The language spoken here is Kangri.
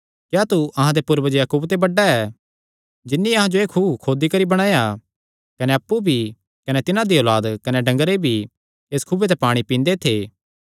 क्या तू अहां दे पूर्वज याकूबे ते बड्डा ऐ जिन्नी अहां जो एह़ खुअ खोदी करी बणाया कने अप्पु भी कने तिन्हां दी औलाद कने डंगरे भी इस खुऐ ते पाणी पींदे थे